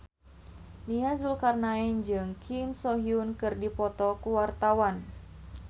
Nia Zulkarnaen jeung Kim So Hyun keur dipoto ku wartawan